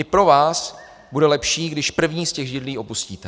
I pro vás bude lepší, když první z těch židlí opustíte.